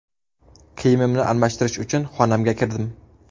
Kiyimimni almashtirish uchun xonamga kirdim.